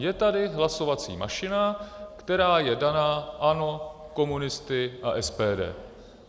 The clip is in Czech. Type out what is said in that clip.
Je tady hlasovací mašina, která je daná ANO, komunisty a SPD.